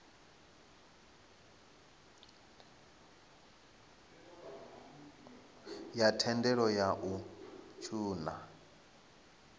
ya thendelo ya u ṱun